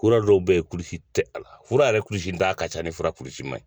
Kura dɔw be yen kulusi tɛ a la fura yɛrɛ kulusita ka ca ni fura kurusi man ɲi